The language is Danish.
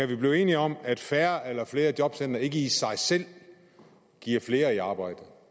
vi blive enige om at færre eller flere jobcentre ikke i sig selv giver flere i arbejde